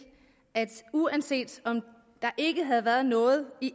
at uanset om der ikke havde været noget i